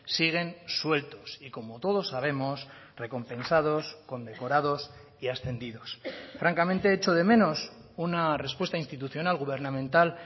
siguen sueltos y como todos sabemos recompensados condecorados y ascendidos francamente echo de menos una respuesta institucional gubernamental